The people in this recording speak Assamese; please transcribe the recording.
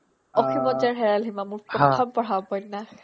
অ অ অসীম শয্যাত হেৰাল সীমা হ মোৰ প্ৰথম পঢ়া উপন্যাস